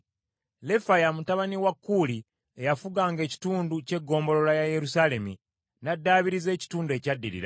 Lefaya mutabani wa Kuuli eyafuganga ekitundu ky’eggombolola ya Yerusaalemi n’addaabiriza ekitundu ekyaddirira.